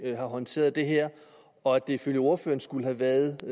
har håndteret det her og at det ifølge ordføreren skulle have været